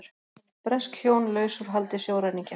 Bresk hjón laus úr haldi sjóræningja